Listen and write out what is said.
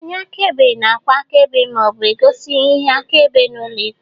Onye akaebe na-agba akaebe ma ọ bụ gosi ihe akaebe n'ụlọ ikpe